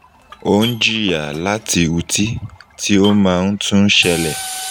o n jiya lati uti ti o maa n tun n ṣẹlẹ